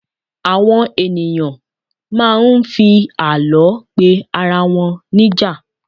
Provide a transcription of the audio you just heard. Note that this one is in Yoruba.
àwọn ènìyàn ma n fi àlọ pe arawọn níjà